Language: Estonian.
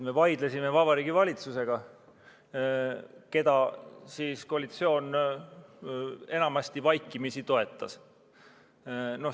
Me vaidlesime Vabariigi Valitsusega, keda koalitsioon enamasti vaikimisi toetas.